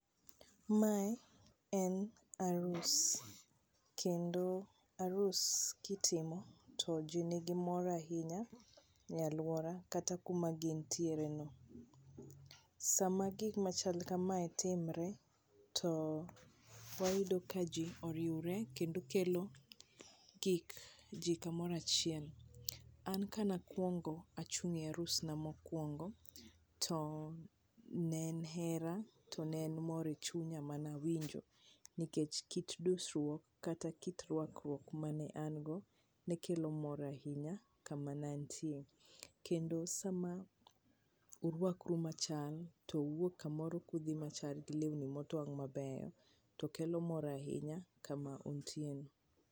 Mae en arus, kendo arus ka itimo to ji ni gi mor ahinya e alwora kata kuma gintiere no. Sama gik machal kamae timre, to wayudo ka ji oriure kendo kelo gik ji kamoro achiel. An ka nakuongo achung' e arusna makuongo, to ne hera to ne en mor e chunya manawinjo nikech kit dusruok kata kit rwakruok mane an go ne kelo mor ahinya kama ne antie. Kendo sama urwakru machal, to uwuok kamoro kudhi machal gi lewni motwang' mabeyo, to kelo mor ahinya kama untie no.